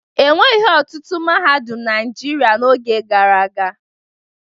E nweghi ọtụtụ mahadum na Naịjirịa n'oge gara aga.